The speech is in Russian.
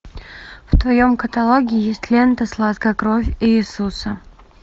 в твоем каталоге есть лента сладкая кровь иисуса